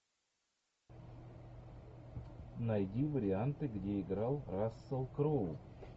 найди варианты где играл рассел кроу